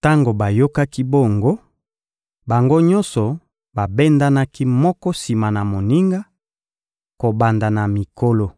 Tango bayokaki bongo, bango nyonso babendanaki moko sima na moninga, kobanda na mikolo.